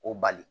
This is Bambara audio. O bali